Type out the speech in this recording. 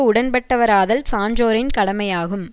உடன்பட்டவராதல் சான்றோரின் கடமையாகும்